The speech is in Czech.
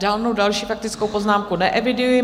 Žádnou další faktickou poznámku neeviduji.